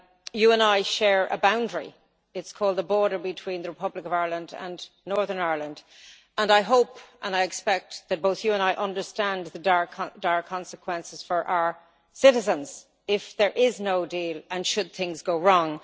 You and I share a boundary it is called the border between the Republic of Ireland and Northern Ireland and I hope and expect that both you and I understand the dire consequences for our citizens if there is no deal and should things go wrong.